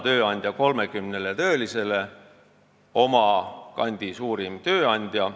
Tööandja 30 töölisele – oma kandi suurim tööandja.